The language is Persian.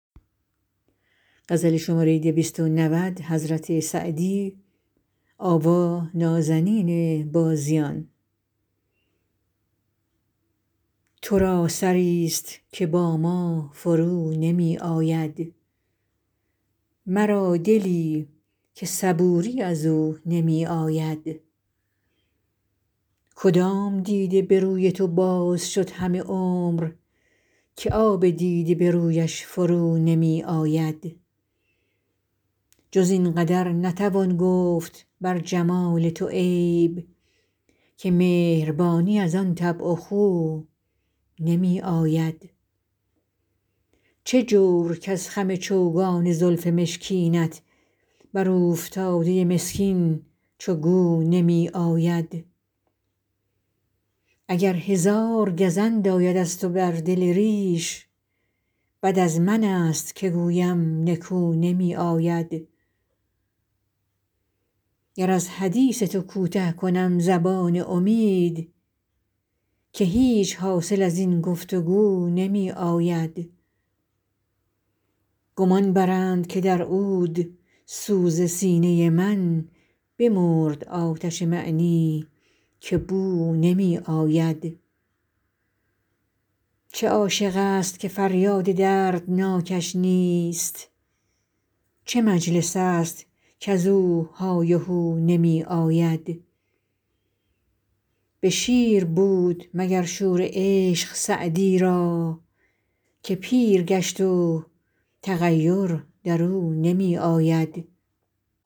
تو را سری ست که با ما فرو نمی آید مرا دلی که صبوری از او نمی آید کدام دیده به روی تو باز شد همه عمر که آب دیده به رویش فرو نمی آید جز این قدر نتوان گفت بر جمال تو عیب که مهربانی از آن طبع و خو نمی آید چه جور کز خم چوگان زلف مشکینت بر اوفتاده مسکین چو گو نمی آید اگر هزار گزند آید از تو بر دل ریش بد از من ست که گویم نکو نمی آید گر از حدیث تو کوته کنم زبان امید که هیچ حاصل از این گفت وگو نمی آید گمان برند که در عودسوز سینه من بمرد آتش معنی که بو نمی آید چه عاشق ست که فریاد دردناکش نیست چه مجلس ست کز او های و هو نمی آید به شیر بود مگر شور عشق سعدی را که پیر گشت و تغیر در او نمی آید